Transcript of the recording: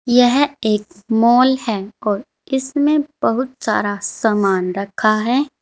यह एक मॉल है और इसमें बहुत सारा सामान रखा है।